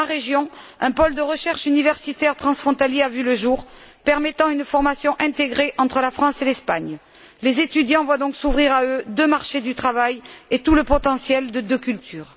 Dans ma région, un pôle de recherche universitaire transfrontalier a vu le jour permettant une formation intégrée entre la France et l'Espagne. Les étudiants voient donc s'ouvrir à eux deux marchés du travail et tout le potentiel de deux cultures.